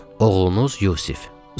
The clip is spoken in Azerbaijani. Sağ olun, oğlunuz Yusif.